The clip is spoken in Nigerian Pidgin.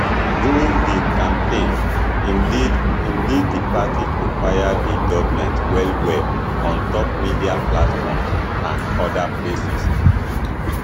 during di campaign im lead im lead di party to fire di goment well well on top media platforms and oda places